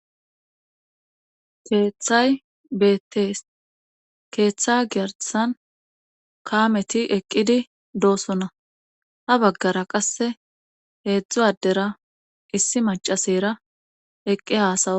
Keeththay beettees keeththa giyarisan kaameti eqqidi doosonna ha baggara qasse heedzdzu addera issi macasera eqqi haasawo.